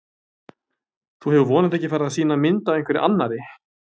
Þú hefur vonandi ekki farið að sýna mynd af einhverri annarri!